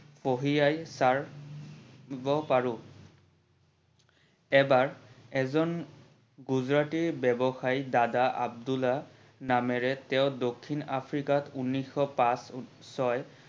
পঢ়ি আহি দিব পাৰো। এবাৰ এজন গুজৰাটী ব্যৱসায়ী দাদা আব্দুলা নামেৰে তেও দক্ষিণ আফ্ৰিকাত ঊনৈশষ পাচ ছয়